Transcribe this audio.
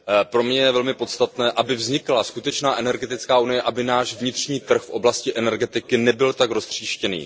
Pro mě je velmi podstatné, aby vznikla skutečná energetická unie, aby náš vnitřní trh v oblasti energetiky nebyl tak roztříštěný.